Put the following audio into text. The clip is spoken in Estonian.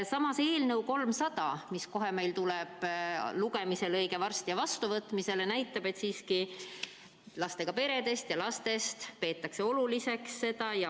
Samas eelnõu 300, mis meil tuleb lugemisele õige varsti ja ehk ka vastuvõtmisele, näitab, et lastega peresid ja lapsi peetakse oluliseks.